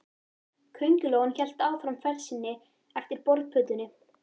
Kóngulóin hélt áfram ferð sinni eftir borðplötunni.